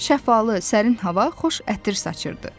Şəffalı, sərin hava xoş ətir saçırdı.